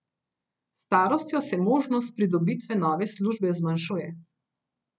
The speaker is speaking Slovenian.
S starostjo se možnost pridobitve nove službe zmanjšuje.